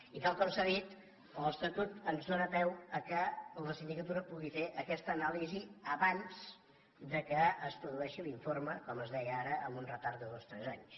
i tal com s’ha dit l’estatut ens dóna peu que la sindicatura pugui fer aquesta anàlisi abans que es produeixi l’informe com es deia ara amb un retard de dos o tres anys